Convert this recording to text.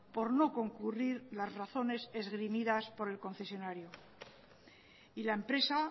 por no concurrir las razones esgrimidas por el concesionario y la empresa